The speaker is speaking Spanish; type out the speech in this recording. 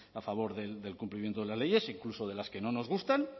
a favor del cumplimiento de las leyes incluso de las que no nos gustan